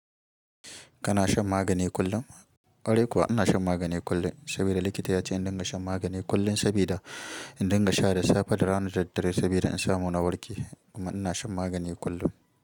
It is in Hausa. Kana shan magani kullum? Kwarai kuwa ina shan magani kullum saboda likita ya ce in dinga shan magani kullum saboda in dinga sha da safe da rana da daddare saboda in samu na warke kuma ina shan magani kullum.